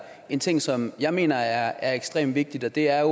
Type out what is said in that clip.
en ting som jeg mener er ekstremt vigtig og det er